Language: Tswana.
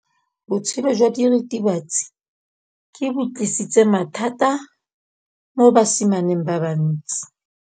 Botshelo jwa diritibatsi ke bo tlisitse mathata mo basimaneng ba bantsi.